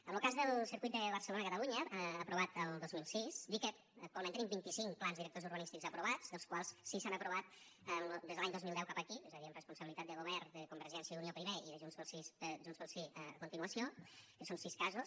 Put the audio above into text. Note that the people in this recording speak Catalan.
en lo cas del circuit de barcelonacatalunya aprovat el dos mil sis dir que actualment tenim vinticinc plans directors urbanístics aprovats dels quals sis s’han aprovat des de l’any dos mil deu cap aquí és a dir amb responsabilitat de govern de convergència i unió primer i de junts pel sí a continuació que són sis casos